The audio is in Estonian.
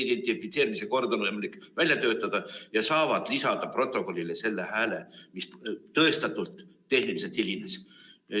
Identifitseerimise kord on võimalik välja töötada ja nad saavad lisada protokollile selle hääle, mis tõestatult tehnilisel põhjusel hilines.